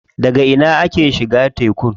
Daga ina ake shiga tekun?